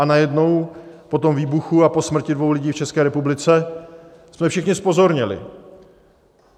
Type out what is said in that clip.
A najednou po tom výbuchu a po smrti dvou lidí v České republice jsme všichni zpozorněli.